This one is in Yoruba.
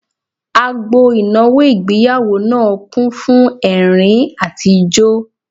Agbo ìnáwó ìgbéyàwó náà kún fún ẹ̀rín àti ijó